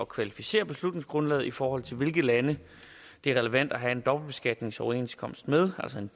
kvalificere beslutningsgrundlaget i forhold til hvilke lande det er relevant at have en dobbeltbeskatningsoverenskomst med altså en